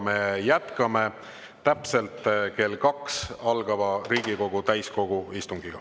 Me jätkame täpselt kell kaks algava Riigikogu täiskogu istungiga.